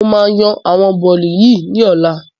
Mo máa yan àwọn bọ́lì yìí ni ọ̀la